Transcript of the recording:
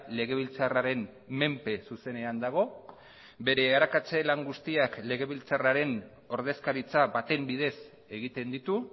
legebiltzarraren menpe zuzenean dago bere arakatze lan guztiak legebiltzarraren ordezkaritza baten bidez egiten ditu